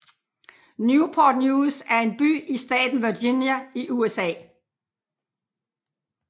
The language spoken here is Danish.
Newport News er en by i staten Virginia i USA